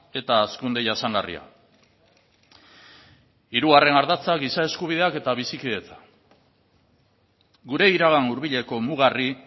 eta hazkunde jasangarria hirugarren ardatza giza eskubideak eta bizikidetza gure iragan hurbileko mugarri